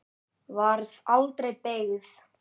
Varð aldregi beygð.